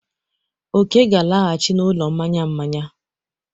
Oke ga-alaghachi n'ụlọ mmanya mmanya.